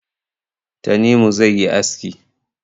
Tanimu zai yi aski